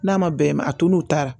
N'a ma bɛn a to n'u taara